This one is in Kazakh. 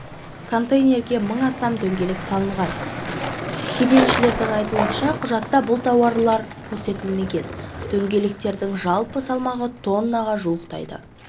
контейнерге мың астам дөңгелек салынған кеденшілердің айтуынша құжатта бұл тауар көрсетілмеген дөңгелектердің жалпы салмағы тоннаға жуықтайды